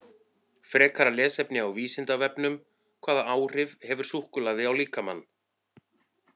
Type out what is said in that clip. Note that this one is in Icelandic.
Frekara lesefni á Vísindavefnum: Hvaða áhrif hefur súkkulaði á líkamann?